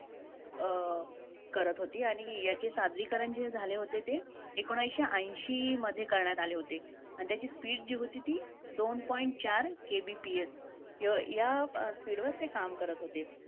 अं करत होती. आणि याचे सादरीकरण जे झाले होते, ते एकोणीसशे ऐंशीमध्ये करण्यात आले होते आणि त्याची speed जी होती, ती दोन point चार KBPS य~ या speed वर ते काम करत होते.